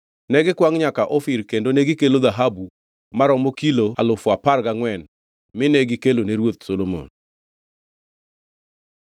Negikwangʼ nyaka Ofir kendo negikelo dhahabu maromo kilo alufu apar gangʼwen mine gikelo ne ruoth Solomon.